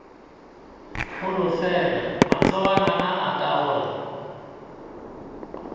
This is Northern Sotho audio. holofela matsogwana a aka gore